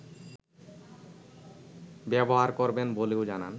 ব্যবহার করবেন বলেও জানান